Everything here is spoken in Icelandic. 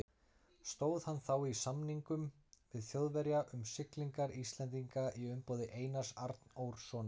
Stóð hann þá í samningum við Þjóðverja um siglingar Íslendinga í umboði Einars Arnórssonar.